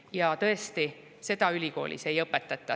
Ja tõesti, seda ülikoolis ei õpetata.